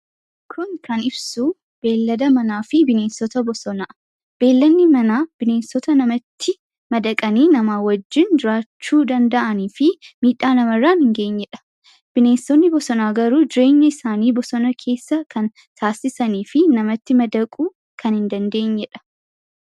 Kun kan ibsu beeylada manaa fi bineensota bosonaadha. Beeyladni manaa bineensota namatti madaqanii namaa wajjin jiraachuu danda'anii fi miidhaa namarraan hin geenyee dha. Bineensonni bosonaa garuu jireenyi isaanii bosona keessa kan taasisanii fi namatti madaquu kan hin dandeenye dha.